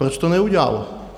Proč to neudělalo?